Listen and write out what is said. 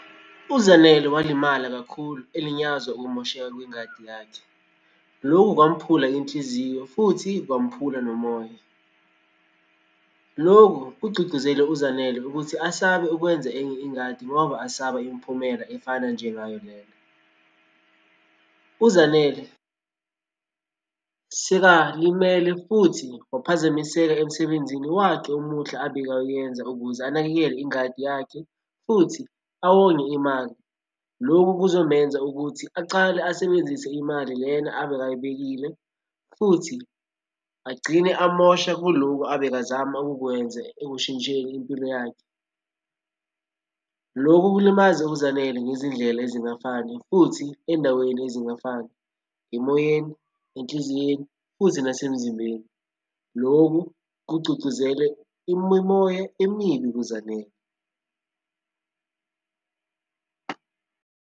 UZanele walimala kakhulu elinyazwa ukumosheka kwengadi yakhe. Lokhu kwamuphula inhliziyo futhi kwamphula nomoya. Loku kugcugcuzele uZanele ukuthi asabe ukwenza enye ingadi ngoba asaba imiphumela efana njengayo lena. UZanele sekalimele futhi waphazamiseka emsebenzini wakhe omuhle abekawuyenza ukuze anakekele ingadi yakhe futhi awonge imali. Lokhu kuzomenza ukuthi acale asebenzise imali lena abekayibekile, futhi agcine amosha kuloku abekazama ukukwenze ekushintsheni impilo yakhe. Lokhu kulimaze uZanele ngezindlela ezingafani futhi endaweni ezingafani, emoyeni, enhliziyeni, futhi nasemzimbeni. Loku kugcugcuzele imimoya emibi kuZanele.